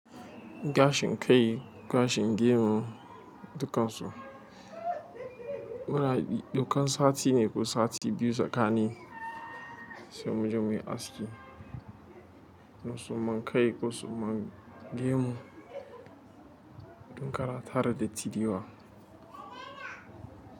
Gashin kai, gashin gemu, dukan su. Muna bi dukan sati ne ko sati biyu zakani sai mu je muyi aski. Na suma kai ko suman gemu, dun ƙara tara datti dewa.